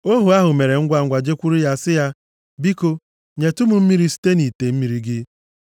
Ohu ahụ mere ngwangwa jekwuru ya sị ya, “Biko nyetụ m mmiri si nʼite mmiri gị.”